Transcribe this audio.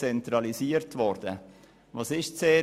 Was war das Erste?